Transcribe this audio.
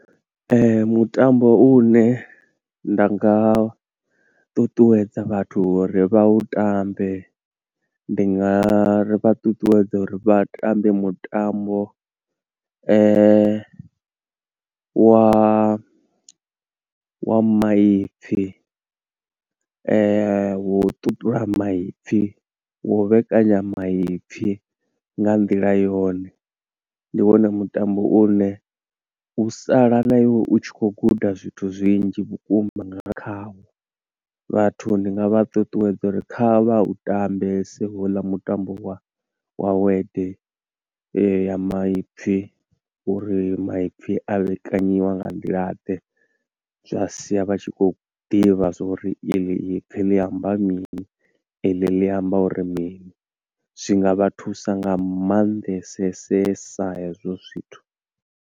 Mutambo u ne nda nga ṱuṱuwedza vhathu uri vha u tambe, ndi nga vha ṱuṱuwedza uri vha tambe mutambo wa wa maipfi, wo u ṱuṱula maipfi, wo u vhekanya maipfi nga nḓila yone. Ndi wone mutambo une u sala na iwe u tshi khou guda zwithu zwinzhi vhukuma nga khawo. Vhathu ndi nga vha ṱuṱuwedza uri kha vha u tambese houḽa mutambo wa word ya maipfi, uri maipfi a vhekanyiwa nga nḓila ḓe. Zwa sia vha tshi khou ḓivha zwa uri eḽi ipfi ḽi amba mini, eḽi ḽi amba uri mini, zwinga vha thusa nga mannḓesesesa hezwo zwithu.